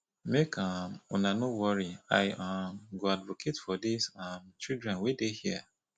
make um una no worry i um go advocate for dis um children wey dey here